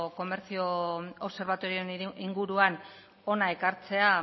komertzio obserbatorioaren inguruan hona ekartzea